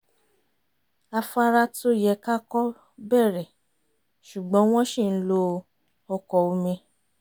afára tó yẹ ká kọ̀ bẹ̀rẹ̀ ṣùgbọ́n wọ́n ṣì ń lo ọkọ̀ omi